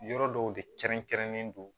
Yɔrɔ dɔw de kɛrɛnkɛrɛnnen don